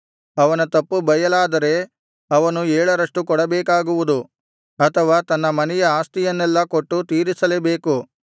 ಅವನ ತಪ್ಪು ಬಯಲಾದರೆ ಅವನು ಏಳರಷ್ಟು ಕೊಡಬೇಕಾಗುವುದು ಅಥವಾ ತನ್ನ ಮನೆಯ ಆಸ್ತಿಯನ್ನೆಲ್ಲಾ ಕೊಟ್ಟು ತೀರಿಸಲೇಬೇಕು